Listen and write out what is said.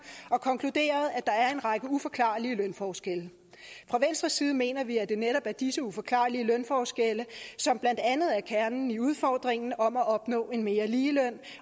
og konkluderet at der er en række uforklarlige lønforskelle fra venstres side mener vi at det netop er disse uforklarlige lønforskelle som blandt andet er kernen i udfordringen om at opnå en mere lige løn